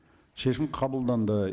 шешім қабылданды